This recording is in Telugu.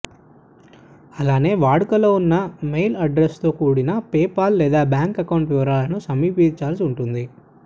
అలానే వాడుకులో ఉన్న మెయిల్ అడ్రస్తో కూడిన పేపాల్ లేదా బ్యాంక్ అకౌంట్ వివరాలను సమర్పించాల్సి ఉంటుంది